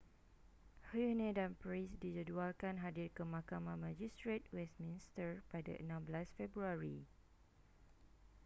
huhne dan pryce dijadualkan hadir ke mahkamah majistret westminster pada 16 februari